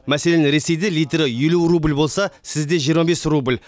мәселен ресейде литрі елу рубль болса сізде жиырма бес рубль